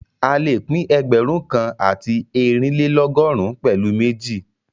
A lè pín ẹgbẹ̀rún kan àti eerinlelogọrun pẹ̀lu méjì